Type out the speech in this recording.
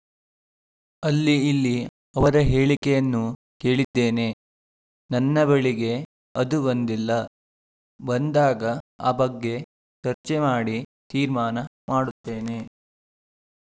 ಅಲ್ಲಿ ಇಲ್ಲಿ ಅವರ ಹೇಳಿಕೆಯನ್ನು ಕೇಳಿದ್ದೇನೆ ನನ್ನ ಬಳಿಗೆ ಅದು ಬಂದಿಲ್ಲ ಬಂದಾಗ ಆ ಬಗ್ಗೆ ಚರ್ಚೆ ಮಾಡಿ ತೀರ್ಮಾನ ಮಾಡುತ್ತೇನೆ